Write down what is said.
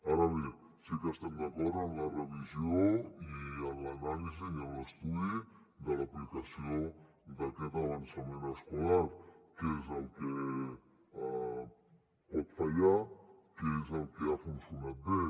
ara bé sí que estem d’acord amb la revisió i amb l’anàlisi i amb l’estudi de l’aplicació d’aquest avançament escolar què és el que pot fallar què és el que ha funcionat bé